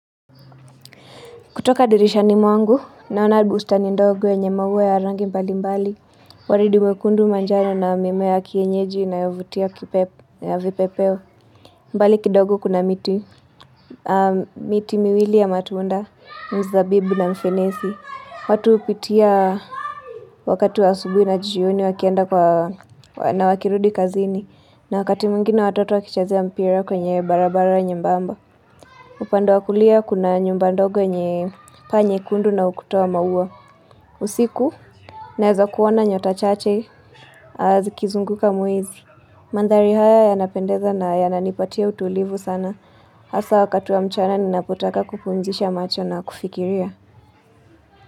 Kutoka dirishani mwangu, naona bustani ndogo yenye maua ya rangi mbali mbali. Walidi wekundu manjano na mimea ya kienyeji inayovutia vipepeo. Mbali kidogo kuna miti miwili ya matunda, mzabibu na mfenesi. Watu upitia wakati wa asubui na jioni wakienda kwa na wakirudi kazini. Na wakati mwingine watoto wakichazea mpira kwenye barabara nyembamba. Upande wa kulia kuna nyumba ndogo yenye paa nyekundu na ukutu wa maua. Usiku, nawezo kuona nyota chache, zikizunguka mwezi. Mandhari haya yanapendeza na yananipatia utulivu sana. Hasa wakati wa mchana, ninapotaka kupumzisha macho na kufikiria.